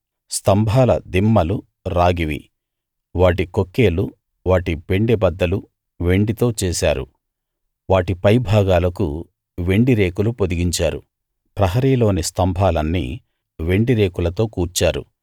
స్తంభాల దిమ్మలు రాగివి వాటి కొక్కేలు వాటి పెండెబద్దలు వెండితో చేశారు వాటి పైభాగాలకు వెండి రేకులు పొదిగించారు ప్రహరీలోని స్తంభాలన్నీ వెండి రేకులతో కూర్చారు